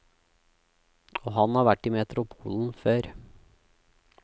Og han har vært i metropolen før.